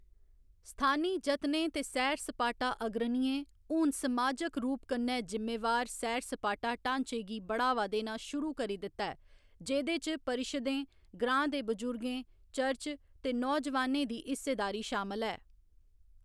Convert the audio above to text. स्थानी जतनें ते सैर सपाटा अग्रणियें हून समाजक रूप कन्नै जिम्मेवार सैर सपाटा ढाँचे गी बढ़ावा देना शुरू करी दित्ता ऐ, जेह्‌‌‌दे च परिशदें, ग्रांऽ दे बजुर्गें, चर्च ते नौजवानें दी हिस्सेदारी शामल ऐ।